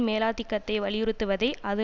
மேலாதிக்கத்தை வலியுறுத்துவதை அது